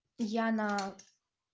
яна